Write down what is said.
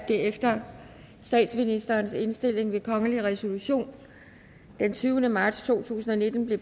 efter statsministerens indstilling ved kongelig resolution den tyvende marts to tusind og nitten blev